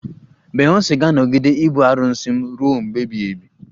Beyonsi ga-anọgide ibu arụsị m ruo mgbe ebighị ebi